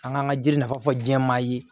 An kan ka jiri nafa fɔ jɛman ye